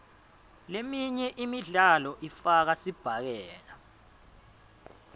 leminye imidlalo ifaka sibhakela